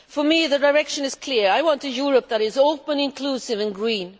For me, the direction is clear I want a Europe which is open, inclusive and green.